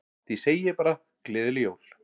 Því segi ég bara gleðileg jól.